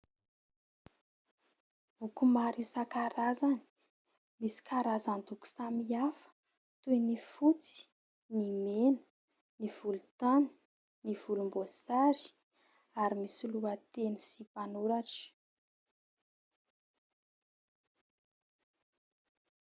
Boky maro isan-karazany misy karazan-doko samihafa toy: ny fotsy, ny mena, ny volontany, ny volomboasary ary misy lohateny sy mpanoratra.